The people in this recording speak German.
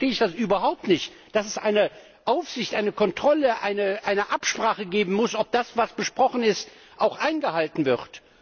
Insofern verstehe ich überhaupt nicht, dass es eine Aufsicht, eine Kontrolle, eine Absprache geben muss, ob das, was besprochen ist, auch eingehalten wird.